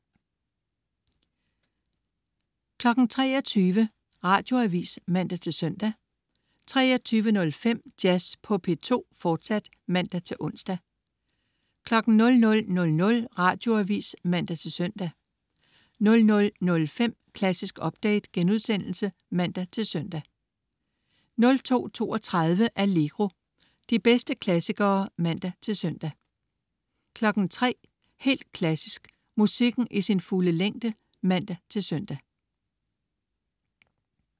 23.00 Radioavis (man-søn) 23.05 Jazz på P2, fortsat (man-ons) 00.00 Radioavis (man-søn) 00.05 Klassisk update* (man-søn) 02.32 Allegro. De bedste klassikere (man-søn) 03.00 Helt Klassisk. Musikken i sin fulde længde (man-søn)